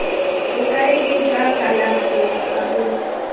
bokaedi jwa kalafi kwa bo